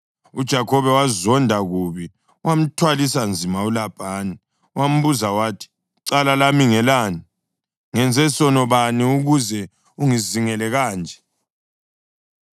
UJakhobe wazonda kubi wamthwalisa nzima uLabhani. Wambuza wathi, “Icala lami ngelani? Ngenze sono bani ukuze ungizingele kanje?